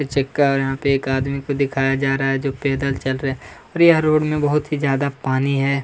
Picture का यहाँ पर एक आदमी को दिखाया जा रहा है जो पैदल चल रहा है और यह रोड में बहोत ही ज्यादा पानी है।